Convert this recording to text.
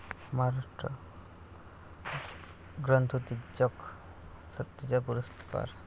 महाराष्ट्र ग्रंथोत्तेजक संस्थेचा पुरस्कार